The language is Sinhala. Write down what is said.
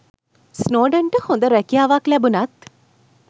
ස්නෝඩන්ට හොඳ රැකියාවක් ලැබුණත්